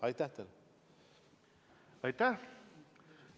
Aitäh!